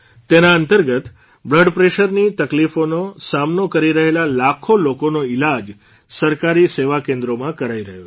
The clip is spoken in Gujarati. તેના અંતર્ગત બ્લડપ્રેશરની તકલીફોનો સામનો કરી રહેલા લાખો લોકોનો ઇલાજ સરકારી સેવા કેન્દ્રોમાં કરાઇ રહ્યો છે